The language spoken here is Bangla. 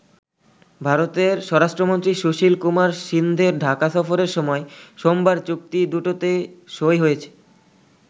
ভারতের স্বরাষ্ট্রমন্ত্রী সুশীল কুমার সিন্ধের ঢাকা সফরের সময় সোমবার চুক্তি দুটোতে সই হয়েছে।